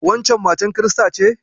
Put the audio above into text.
Waccen matar kirista ce?